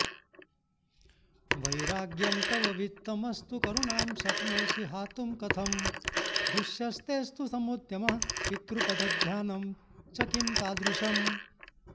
वैराग्यं तव वित्तमस्तु करुणां शक्नोषि हातुं कथं दूश्यस्तेऽस्तु समुद्यमः पितृपदध्यानं च किं तादृशम्